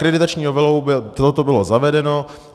Akreditační novelou by toto bylo zavedeno.